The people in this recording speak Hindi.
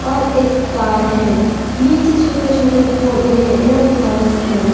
और एक तार है नीचे छोटे छोटे पौधे हैं एवं घास है।